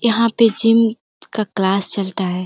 यहाँ पे जिम का क्लास चलता है।